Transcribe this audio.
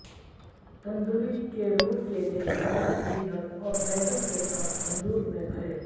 تندلی کے رول کے لئے ہدایت پنیر اور بیکن کے ساتھ تندور میں بھرے